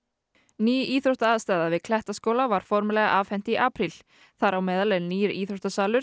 ný íþróttaaðstaða við Klettaskóla var formlega afhent í apríl þar á meðal er nýr íþróttasalur